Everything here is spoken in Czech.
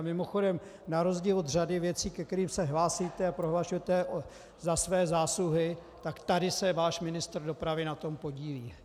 A mimochodem, na rozdíl od řady věcí, ke kterým se hlásíte a prohlašujete za své zásluhy, tak tady se váš ministr dopravy na tom podílí.